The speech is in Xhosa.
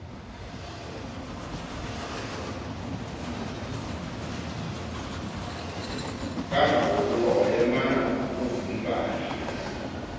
kangangokuba wayemana ukuvilibala